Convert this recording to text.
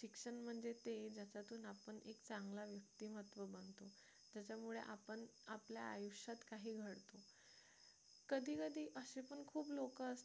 शिक्षण म्हणजे ते ज्याच्यातून आपण एक चांगला व्यक्तिमत्व बनतो त्याच्यामुळे आपण आपल्या आयुष्यात काही घडतो कधी कधी असे पण खूप लोक असतात